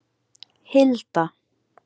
Hilda